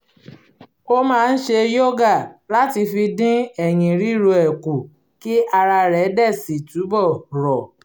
ó máa ń ṣe yoga láti fi dín ẹ̀yìn ríro ẹ kù kí ara rẹ̀ dẹ̀ si túbọ̀ rọ̀